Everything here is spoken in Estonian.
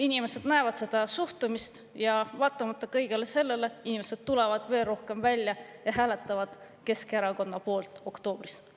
Inimesed näevad seda suhtumist ja vaatamata tulevad veel rohkem välja ja hääletavad Keskerakonna poolt oktoobris.